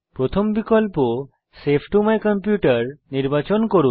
প্রথম বিকল্প save to my computer নির্বাচন করুন